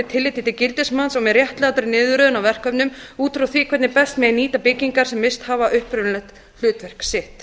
tilliti til gildismats og með réttlátri niðurröðun á verkefnum út frá því hvernig best megi nýta byggingar sem misst hafa upprunalegt hlutverk sitt